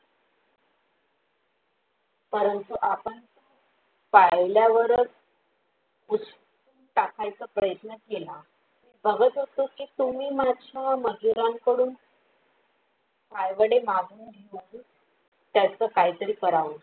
परंतु आपण पाहिल्यावरच कुछ टाकायचा प्रयत्न केला बघत होतो कि तुम्ही माझ्या मंदीरांकडून पायवाडे माघून घेऊन त्याचा काहीतरी करावं